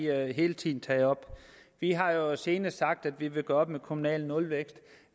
har vi hele tiden taget op vi har jo senest sagt at vi vil gøre op med kommunal nulvækst